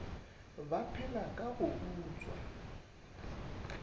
ba phela ka go utswa